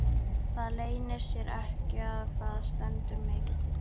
Það leynir sér ekki að það stendur mikið til.